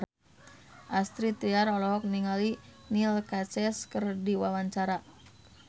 Astrid Tiar olohok ningali Neil Casey keur diwawancara